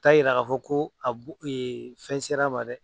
O t'a yira k'a fɔ ko a b'u fɛn sera ma dɛ